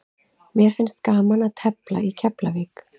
Mér finnst gaman að tefla í Keflavík.